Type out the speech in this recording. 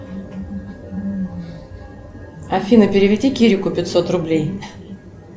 афина переведи кирику пятьсот рублей